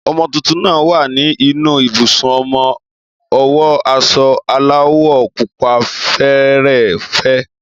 ọmọ tuntun náà wà ní inú ibùsùn ọmọ, o wo aso aláwò pupa fẹẹrẹ fe